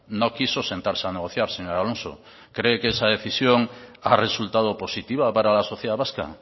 no quiso sentarse a negociar señor alonso cree que esa decisión ha resultado positiva para la sociedad vasca